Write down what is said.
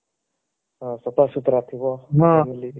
ହଁ ସଫାସୁତୁରା ଥିବ